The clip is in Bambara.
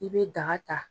I bɛ daga ta